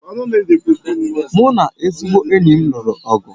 Mụ na ezigbo enyi m lụrụ ọgụ